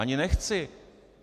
Ani nechci.